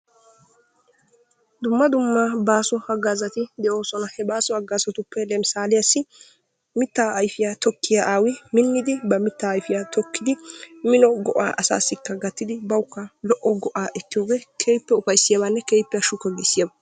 Dumma dumma baaso hagaazati de"oosona. he baaso hagaxatuppe lemisaaliyassi mittaa ayfiyaa tokkiyaa awi minnidi ba mittaa ayfiyaa tokkidi mino go"aa asaasi gaatidi bawukka lo"o go"aa ekkiyoogee keehippe ufayssiyaabane keehippe haashshu giissiyaaba.